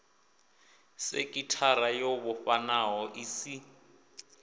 sekithara yo vhofhanaho i si